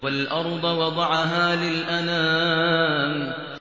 وَالْأَرْضَ وَضَعَهَا لِلْأَنَامِ